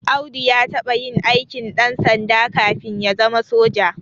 Audu ya taɓa yin aikin ɗansanda kafin ya zama soja